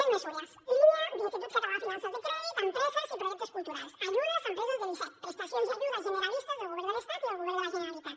més mesures línia de l’institut català de finances de crèdit a empreses i projectes culturals ajudes a empreses de l’icec prestacions i ajudes generalistes del govern de l’estat i el govern de la generalitat